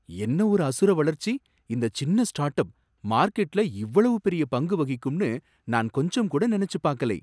என்ன ஒரு அசுர வளர்ச்சி இந்தச் சின்ன ஸ்டார்ட் அப், மார்க்கெட்ல இவ்வளவு பெரிய பங்கு வகிக்கும்னு நான் கொஞ்சம்கூட நனைச்சுப் பாக்கலை.